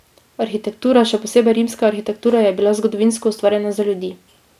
Arhitektura, še posebej rimska arhitektura, je bila zgodovinsko ustvarjena za ljudi.